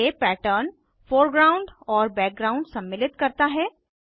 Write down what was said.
ये pattern foreground और background सम्मिलित करता है